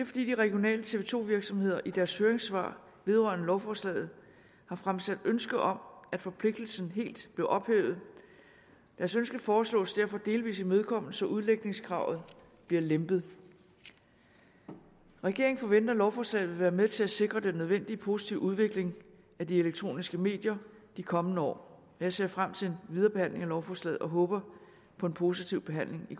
fordi de regionale tv to virksomheder i deres høringssvar vedrørende lovforslaget har fremsat ønske om at forpligtelsen helt blev ophævet deres ønske foreslås derfor delvis imødekommet så udlægningskravet bliver lempet regeringen forventer at lovforslaget vil være med til at sikre den nødvendige positive udvikling af de elektroniske medier de kommende år jeg ser frem til videre behandling af lovforslaget og håber på en positiv behandling i